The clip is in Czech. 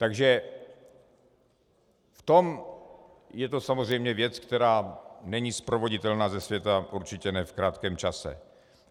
Takže v tom je to samozřejmě věc, která není sprovoditelná ze světa, určitě ne v krátkém čase.